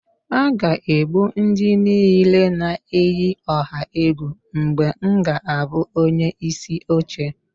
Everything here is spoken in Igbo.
A ga-egbu ndị niile na-eyi ọha egwu mgbe m ga-abụ onyeisi oche